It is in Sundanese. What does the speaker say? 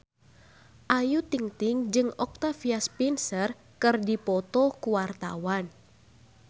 Ayu Ting-ting jeung Octavia Spencer keur dipoto ku wartawan